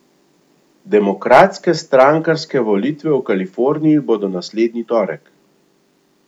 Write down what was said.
Demokratske strankarske volitve v Kaliforniji bodo naslednji torek.